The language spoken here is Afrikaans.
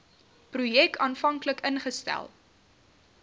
projek aanvanklik ingestel